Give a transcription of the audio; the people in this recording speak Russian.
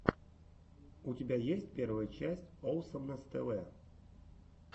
у тебя есть первая часть оусомнесс тэ вэ